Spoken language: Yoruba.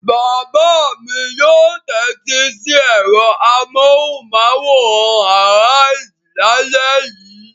Bàbá mi yóò tẹ́tí sí ẹ̀rọ amóhùmáwòhán Arise lálẹ́ yìí.